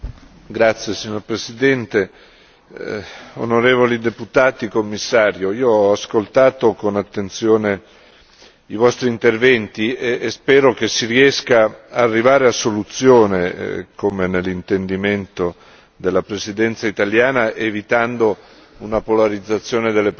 Signor Presidente, onorevoli deputati, signor Commissario, io ho ascoltato con attenzione i vostri interventi e spero che si riesca ad arrivare a soluzione, come nell'intendimento della Presidenza italiana, evitando una polarizzazione delle posizioni.